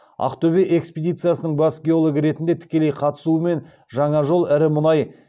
ақтөбе экспедициясының бас геологы ретінде тікелей қатысуымен жаңа жол ірі мұнай